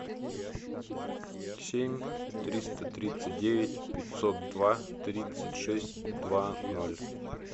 семь триста тридцать девять пятьсот два тридцать шесть два ноль